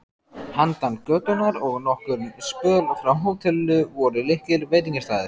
Handan götunnar og nokkurn spöl frá hótelinu voru litlir veitingastaðir.